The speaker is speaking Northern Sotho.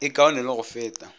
e kaone le go feta